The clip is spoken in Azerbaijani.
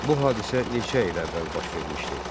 Bu hadisə neçə il əvvəl baş vermişdi?